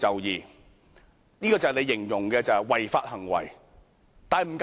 這便是你形容的違法行為了。